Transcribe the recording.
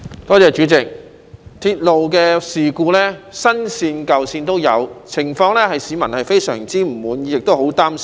代理主席，鐵路事故在新線或舊線都有發生，情況令市民相當不滿，亦非常擔心。